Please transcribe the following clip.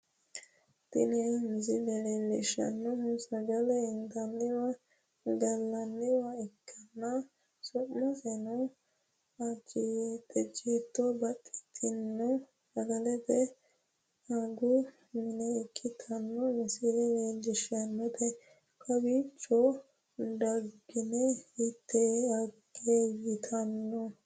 Tini misile leellishshanno sagale intanniwa gallanniwa ikkanna, su'maseno ajiyyite baxxitino sagaletenna agu mine ikkitino misile leellishshannote, kowiicho daggine itte agge yitanno'ne.